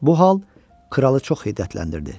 Bu hal kralı çox hiddətləndirdi.